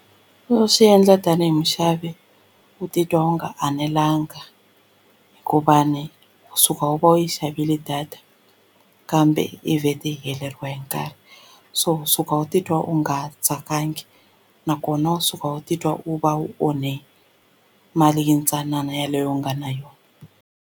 Swi endla tanihi muxavi u titwa u nga enelanga hikuva ni u suka u va u yi xavile data kambe i vhete yi heleriwe hi nkarhi so u suka u titwa u nga tsakangi nakona u suka u titwa u va u onhe mali yintsanana yeleyo u nga na yona.